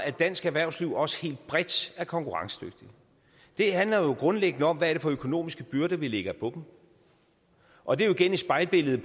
at dansk erhvervsliv også helt bredt er konkurrencedygtigt det handler grundlæggende om hvad det er for økonomiske byrder vi lægger på dem og det er jo igen et spejlbillede